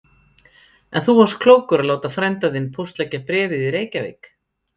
En þú varst klókur að láta frænda þinn póstleggja bréfið í Reykjavík.